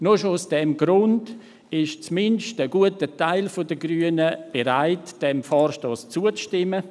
Nur schon aus diesem Grund ist zumindest ein guter Teil der Grünen bereit, diesem Vorstoss zuzustimmen.